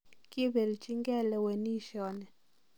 Kibelinjigei lewenisioni.